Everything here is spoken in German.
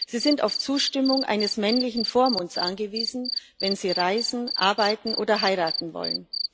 Sie sind auf die Zustimmung eines männlichen Vormunds angewiesen, wenn sie reisen, arbeiten oder heiraten wollen.